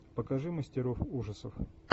покажи мастеров ужасов